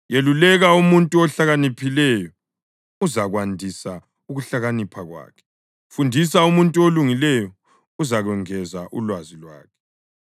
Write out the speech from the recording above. Yeluleka umuntu ohlakaniphileyo uzakwandisa ukuhlakanipha kwakhe; fundisa umuntu olungileyo, uzakwengeza ulwazi lwakhe.